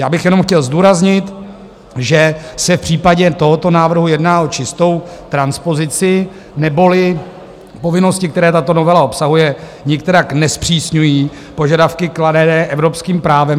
Já bych jenom chtěl zdůraznit, že se v případě tohoto návrhu jedná o čistou transpozici, neboli povinnosti, které tato novela obsahuje, nikterak nezpřísňují požadavky kladené evropským právem.